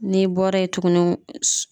N'i bɔra ye tuguni s